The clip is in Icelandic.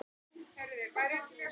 Hvað var hann kominn út í?